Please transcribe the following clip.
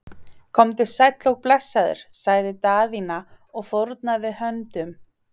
Komdu sæll og blessaður, sagði Daðína og fórnaði höndum.